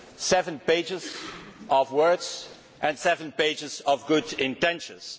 Seven pages of words and seven pages of good intentions.